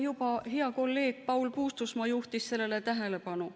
Ka hea kolleeg Paul Puustusmaa juhtis sellele tähelepanu.